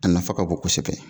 A nafa ka bon kosɛbɛ.